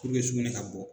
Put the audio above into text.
sugunɛ ka bɔ